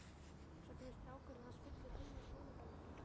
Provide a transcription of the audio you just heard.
Svo kemur strákurinn hans fullur heim af skólaballi.